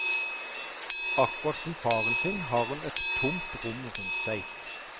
Akkurat som faren sin har hun et tomt rom rundt seg.